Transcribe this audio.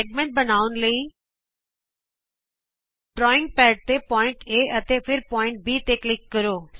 ਵ੍ਰਤ ਖੰਡ ਨੂੰ ਬਣਾਉਣ ਲਈ ਡਰਾਇਂਗ ਪੈਡ ਤੇ ਬਿੰਦੂ A ਅਤੇ ਫਿਰ B ਤੇ ਕਲਿਕ ਕਰੋ